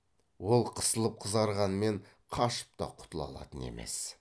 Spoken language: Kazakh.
ол қысылып қызарғанмен қашып та құтыла алатын емес